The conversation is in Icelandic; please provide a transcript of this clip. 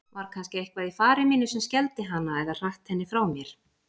Var kannski eitthvað í fari mínu sem skelfdi hana eða hratt henni frá mér?